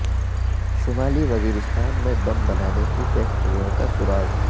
شمالی وزیرستان میں بم بنانے کی فیکٹریوں کا سراغ